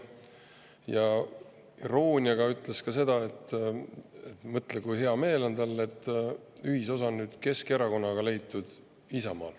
Ja irooniaga ütles ta seda, et mõtle, kui hea meel tal on, et Isamaa on nüüd leidnud ühisosa Keskerakonnaga.